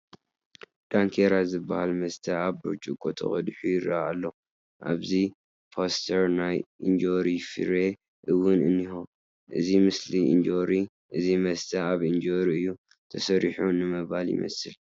እንኬራ ዝበሃል መስተ ኣብ ብርጭቆ ተቐዲሑ ይርአ ኣሎ፡፡ ኣብዚ ፖስተር ናይ ኢንጆሪ ፍረ እውን እኒሀ፡፡ እቲ ምስሊ ኢንጆሪ እዚ መስተ ካብ ኢንጆሪ እዪ ተሰሪሑ ንምባል ይመስል፡፡